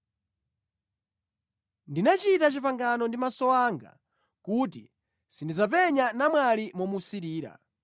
“Ndinachita pangano ndi maso anga kuti sindidzapenya namwali momusirira.